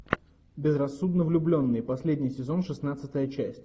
безрассудно влюбленные последний сезон шестнадцатая часть